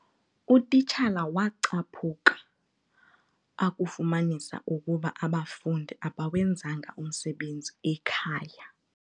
Utitshala wacaphuka akufumanisa ukuba abafundi abawenzanga umsebenzi ekhaya.